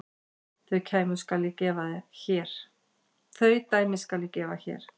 Þau dæmi skal ég gefa hér.